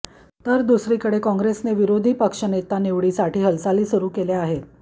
तर दुसरीकडे कॉंग्रेसने विरोधीपक्ष नेता निवडीसाठी हालचाली सुरु केल्या आहेत